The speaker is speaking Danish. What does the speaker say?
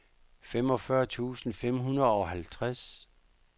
femogfyrre tusind fem hundrede og halvtreds